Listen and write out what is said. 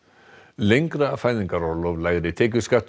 lengra fæðingarorlof lægri tekjuskattur